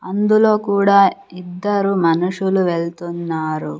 అందులో కూడా ఇద్దరు మనుషులు వెళ్తున్నారు.